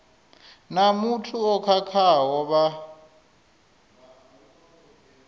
na muthu o khakhaho vha